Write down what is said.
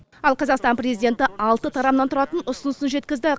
ал қазақстан президенті алты тарамнан тұратын ұсынысын жеткізді